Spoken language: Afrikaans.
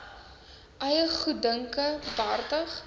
eie goeddunke behartig